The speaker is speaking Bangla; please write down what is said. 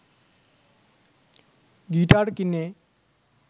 গিটার কিনে